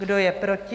Kdo je proti?